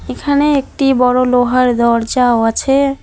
এখানে একটি বড় লোহার দরজাও আছে।